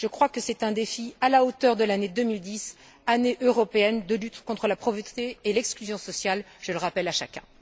Je crois que c'est un défi à la hauteur de l'année 2010, année européenne de lutte contre la pauvreté et l'exclusion sociale, je le rappelle à chacun.